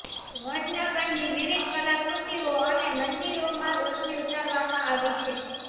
વડનગરની વિવિધ કલાકૃતિઓ અને મંદિરોમાં રોશની ઉતારવામાં આવી છે